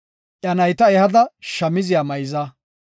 Iya nayta ehada shamziya mayza.